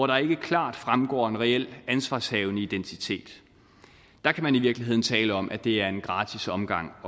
der ikke klart fremgår en reel ansvarshavende identitet der kan man i virkeligheden tale om at det er en gratis omgang